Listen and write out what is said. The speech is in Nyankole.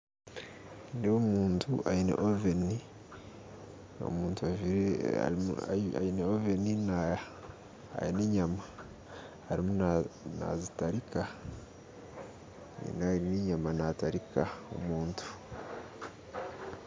Nindeeba omuntu ayine oveni ,omuntu ajjwire ayi ayine oveni na ayine enyama arimu na nazitariika nayi n'enyama natarika omuntu